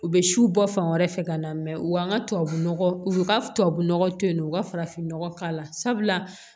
U bɛ siw bɔ fan wɛrɛ fɛ ka na mɛ u ka tubabu nɔgɔ u ka tubabu nɔgɔ to yen nɔ u ka farafin nɔgɔ k'a la sabula